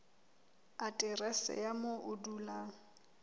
aterese ya moo o dulang